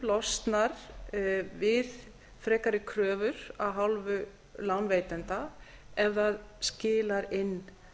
losnar fólk við frekari kröfur af hálfu lánveitenda ef það skilar inn